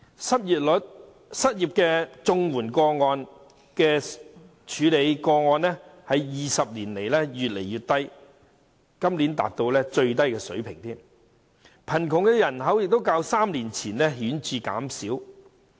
政府處理的失業綜援個案在20年間越來越少，今年更達到最低水平，而且貧窮人口亦較3年前顯著減少。